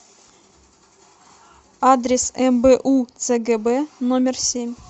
адрес мбу цгб номер семь